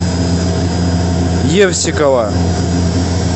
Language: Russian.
евсикова